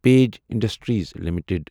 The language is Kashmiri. page Industries limited